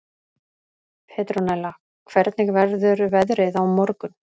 Petrónella, hvernig verður veðrið á morgun?